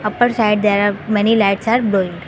Upper side there are many lights are blowing.